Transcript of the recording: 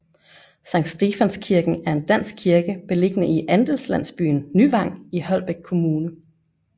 Sankt Stefans Kirken er en dansk kirke beliggende i andelslandsbyen Nyvang i Holbæk Kommune